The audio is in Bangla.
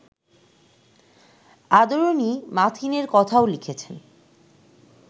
আদরিণী মাথিনের কথাও লিখেছেন